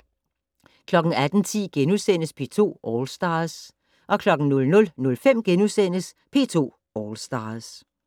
18:10: P2 All Stars * 00:05: P2 All Stars *